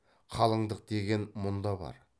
қалыңдық деген мұнда бар